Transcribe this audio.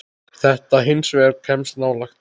Þetta hins vegar kemst nálægt.